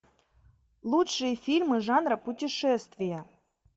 лучшие фильмы жанра путешествия